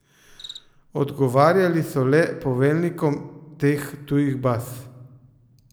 Odgovarjali so le poveljnikom teh tujih baz.